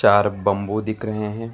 और बंबू दिख रहे हैं।